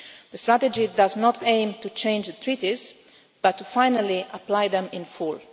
The strategy does not aim to change the Treaties, but to finally apply them in